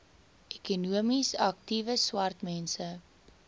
ekonomies aktiewe swartmense